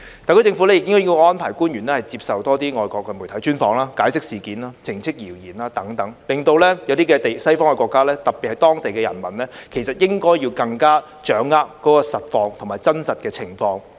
特區政府亦應該安排官員接受多些外國媒體專訪，解釋事件、澄清謠言等，令一些西方國家，特別是當地的人民，更加掌握真實的情況。